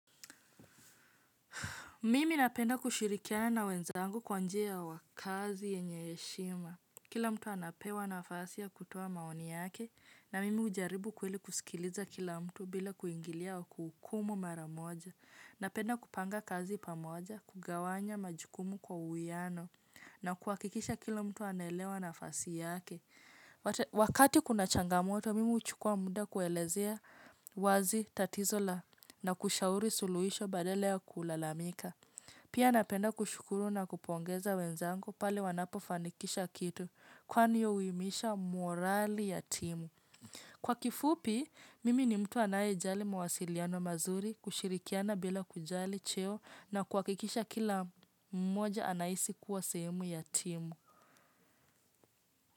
Mimi napenda kushirikiana wenzangu kwa njia ya wakazi yenye heshima. Kila mtu anapewa nafasi ya kutoa maoni yake na mimi hujaribu kweli kusikiliza kila mtu bila kuingilia au kuhukumu mara moja. Napenda kupanga kazi pamoja, kugawanya majukumu kwa uwiano na kuhakikisha kila mtu anaelewa nafasi yake. Wakati kuna changamoto, mimi huchukua muda kuelezea wazi tatizo la na kushauri suluhisho badala ya kulalamika. Pia napenda kushukuru na kupongeza wenzangu pale wanapofanikisha kitu kwani hiyo uimisha morali ya timu. Kwa kifupi, mimi ni mtu anayejali mawasiliano mazuri kushirikiana bila kujali cheo na kuhakikisha kila mmoja anahisi kuwa sehemu ya timu.